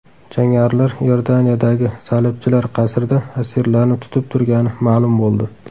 Jangarilar Iordaniyadagi salibchilar qasrida asirlarni tutib turgani ma’lum bo‘ldi.